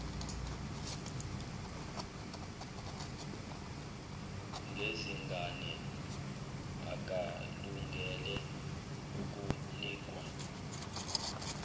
ngezingane akalungele ukunikwa